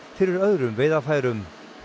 fyrir öðrum veiðarfærum